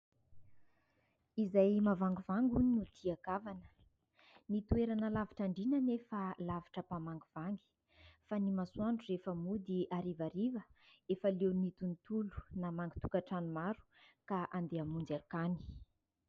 « Izay mahavangivangy hono no tian-kavana ». Ny toerana lavitra andriana nefa lavitra mpamangivangy ; fa ny masoandro rehefa mody harivariva, efa leo ny tontolo namangy tokantrano maro ka andeha hamonjy akany.